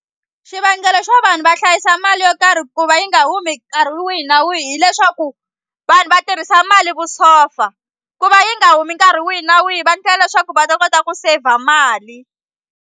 Xivangelo xo vanhu va hlayisa mali yo karhi ku va yi nga humi nkarhi wihi na wihi hileswaku vanhu va tirhisa mali vusopfa ku va yi nga humi nkarhi wihi na wihi va endlela leswaku va ta kota ku saver mali.